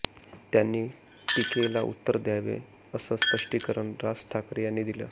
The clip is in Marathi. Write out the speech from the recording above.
त्यांनी टीकेला उत्तर द्यावी असं स्पष्टीकरण राज ठाकरे यांनी दिलं